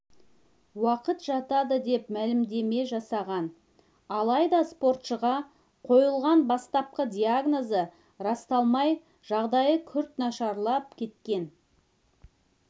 уақыт жатады деп мәлімдеме жасаған алайда спортшыға қойылған бастапқы диагнозы расталмай жағдайы күрт нашарлап кеткен